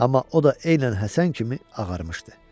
Amma o da eynən Həsən kimi ağarmışdı.